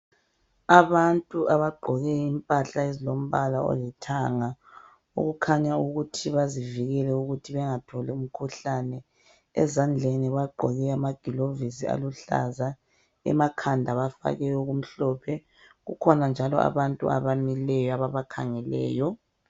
Abantu abagqoke impahla ezilombala olithanga okukhanya ukuthi bazivikele ukuthi bengatholi umkhuhlane. Ezandleni bagqoke amagilovisi aluhlaza. Emakhanda bafake okumhlophe, kukhona njalo abantu abamileyo ababakhangeleyo.